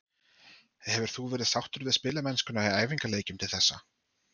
Hefur þú verið sáttur við spilamennskuna í æfingaleikjum til þessa?